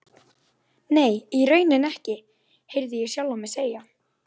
Veifuðum brosandi þegar bílarnir sigu af stað.